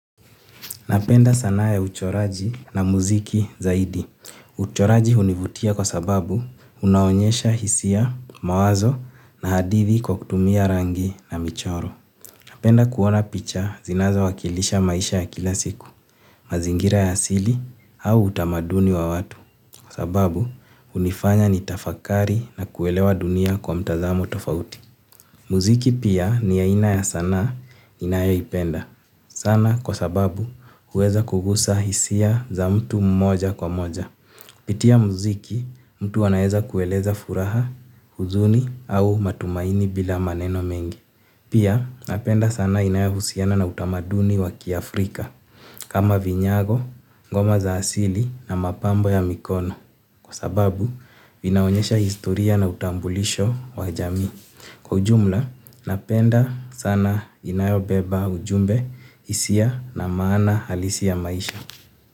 Napenda sanaa ya uchoraji na muziki zaidi. Uchoraji hunivutia kwa sababu unaonyesha hisia, mawazo na hadithi kwa kutumia rangi na michoro. Napenda kuona picha zinazo wakilisha maisha ya kila siku, mazingira ya asili au utamaduni wa watu. Kwa sababu hunifanya nitafakari na kuelewa dunia kwa mtazamo tofauti. Mziki pia ni aina ya sanaa ninayo ipenda sana kwa sababu huweza kugusa hisia za mtu moja kwa moja. Kupitia mziki mtu anaweza kueleza furaha, huzuni au matumaini bila maneno mengi. Pia napenda sanaa inayo husiana na utamaduni wa kiAfrika kama vinyago, ngoma za asili na mapambo ya mikono. Kwa sababu vinaonyesha historia na utambulisho wa jamii kwa ujumla napenda sanaa inayobeba ujumbe, hisia na maana halisi ya maisha.